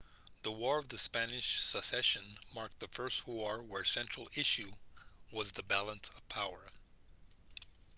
the war of spanish succession marked the first war whose central issue was the balance of power